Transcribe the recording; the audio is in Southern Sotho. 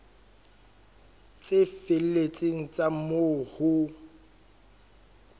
tse felletseng tsa moo ho